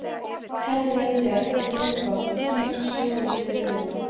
Efling hins vísindalega grunns greinarinnar varð lykilatriði.